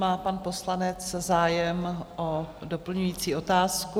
Má pan poslanec zájem o doplňující otázku?